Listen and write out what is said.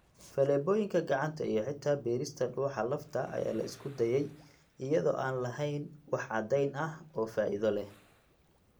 Faleebooyinka gacanta iyo xitaa beerista dhuuxa lafta ayaa la isku dayay iyada oo aan lahayn wax caddayn ah oo faa'iido leh.